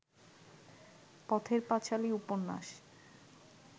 পথের পাঁচালী উপন্যাস